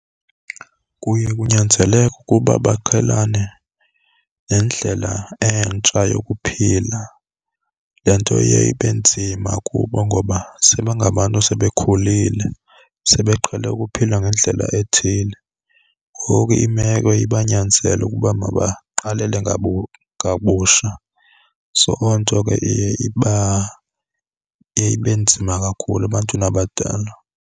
Kuye kunyanzeleke ukuba baqhelane nendlela entsha yokuphila. Le nto iye ibe nzima kubo ngoba sebengabantu esebekhulile, sebeqhele ukuphila ngendlela ethile, ngoku imeko ibanyanzele ukuba mabaqalele ngabusha. So onto ke iye ibe nzima kakhulu ebantwini abadala.